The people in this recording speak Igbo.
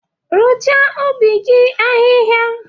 Rụchaa ubi gị ahịhịa!